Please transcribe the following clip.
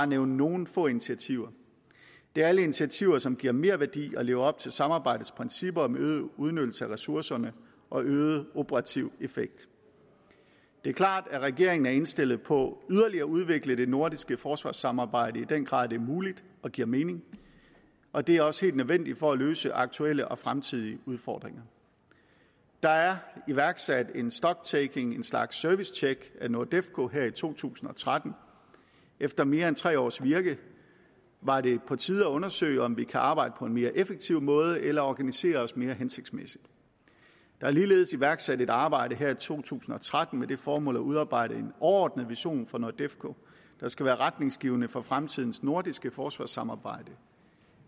nævne nogle få initiativer det er alle initiativer som giver merværdi og lever op til samarbejdets principper om øget udnyttelse af ressourcerne og øget operativ effekt det er klart at regeringen er indstillet på yderligere at udvikle det nordiske forsvarssamarbejde i den grad det er muligt og giver mening og det er også nødvendigt for at løse aktuelle og fremtidige udfordringer der er iværksat en stock taking en slags servicetjek af nordefco her i to tusind og tretten efter mere end tre års virke var det på tide at undersøge om vi kan arbejde på en mere effektiv måde eller organisere os mere hensigtsmæssigt der er ligeledes iværksat et arbejde her i to tusind og tretten med det formål at udarbejde en overordnet vision for nordefco der skal være retningsgivende for fremtidens nordiske forsvarssamarbejde